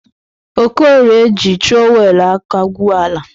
Okorie ji trọwelu aka gwuoọ ala.